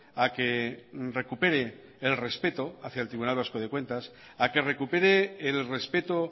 a que recupere el respeto hacia el tribunal vasco de cuentas a que recupere el respeto